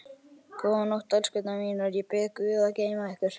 Góða nótt, elskurnar mínar, ég bið guð að geyma ykkur.